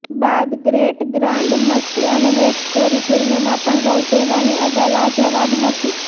બાદ great grand Masti અને hate story ફિલ્મમાં પણ રૌતેલાની અદા લાજવાબ હતી